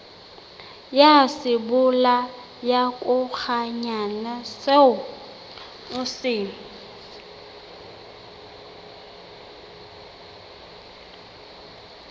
ya sebolayakokwanyana seo o se